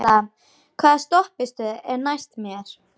Kalla, hvaða stoppistöð er næst mér?